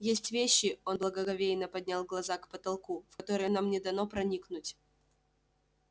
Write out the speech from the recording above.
есть вещи он благоговейно поднял глаза к потолку в которые нам не дано проникнуть